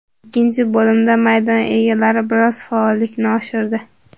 Ikkinchi bo‘limda maydon egalari biroz faollikni oshirdi.